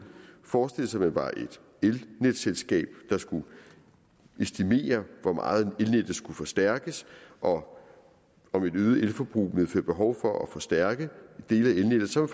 forestillede sig at man var et elnetselskab der skulle estimere hvor meget elnettet skulle forstærkes og om et øget elforbrug ville medføre behov for at forstærke dele af elnettet så